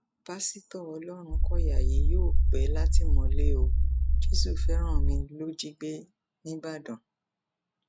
pásítọ ọlọrunkọyà yìí yóò pẹ látìmọlé o jésùfẹránmi ló jí gbé níìbàdàn